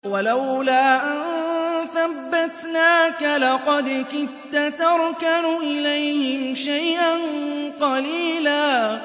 وَلَوْلَا أَن ثَبَّتْنَاكَ لَقَدْ كِدتَّ تَرْكَنُ إِلَيْهِمْ شَيْئًا قَلِيلًا